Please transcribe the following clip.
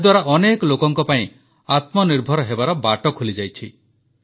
ଏହାଦ୍ୱାରା ଅନେକ ଲୋକଙ୍କ ପାଇଁ ଆତ୍ମନିର୍ଭର ହେବାର ବାଟ ଖୋଲିଯାଇଛି